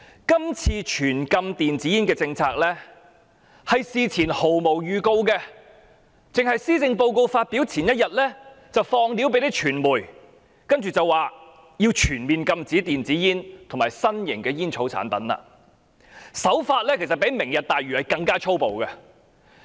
今次推行全面禁止電子煙的政策，事前毫無預告，僅在施政報告發表前1天向傳媒稍作披露，然後便提出要全面禁止電子煙及其他新型吸煙產品，手法較推行"明日大嶼"更加粗暴。